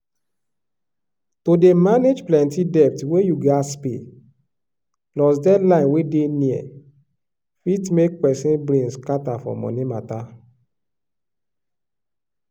to dey manage plenti debt wey you gats pay plus deadline wey dey near fit make pesin brain scatter for money mata.